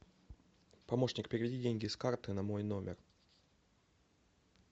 помощник переведи деньги с карты на мой номер